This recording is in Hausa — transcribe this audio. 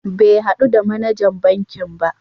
Bai haɗu da manajan bankin ba.